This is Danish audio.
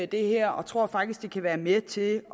det her og tror faktisk at det kan være med til